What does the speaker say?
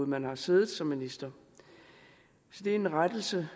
man har siddet som minister så det er en rettelse